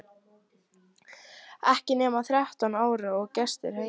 Ekki nema þrettán ára og gestir heima!